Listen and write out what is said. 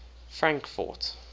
frankfort